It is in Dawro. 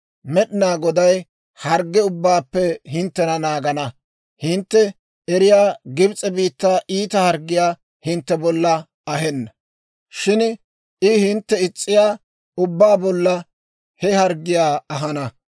Med'inaa Goday hargge ubbaappe hinttena naagana. Hintte eriyaa Gibs'e biittaa iita harggiyaa hintte bolla ahenna; shin I hinttena is's'iyaa ubbaa bollan he harggiyaa ahana.